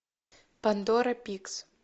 пандора пикс